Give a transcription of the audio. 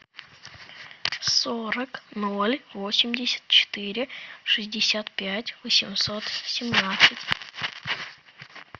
сорок ноль восемьдесят четыре шестьдесят пять восемьсот семнадцать